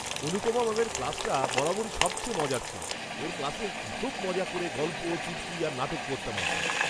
অনুপমা ম্যামের ক্লাসটা বরাবরই সবচেয়ে মজার ছিল। ওঁর ক্লাসে খুব মজা করে গল্প, চুটকি, আর নাটক পড়তাম আমরা।